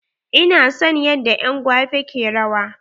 Ina son yanda en gwape ke rawa.